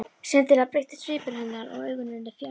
Skyndilega breyttist svipur hennar og augun urðu fjarræn.